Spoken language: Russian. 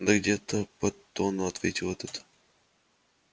да где-то под тонну ответил этот